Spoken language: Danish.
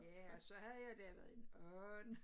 Ja og så havde jeg da lavet en and